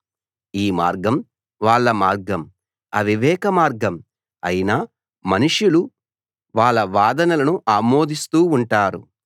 ఈ మార్గం వాళ్ళ మార్గం అవివేక మార్గం అయినా మనుషులు వాళ్ళ వాదనలను ఆమోదిస్తూ ఉంటారు